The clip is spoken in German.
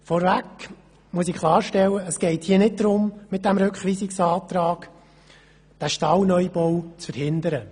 Vorweg muss ich klarstellen, dass es beim Rückweisungsantrag nicht darum geht, den Stallneubau zu verhindern.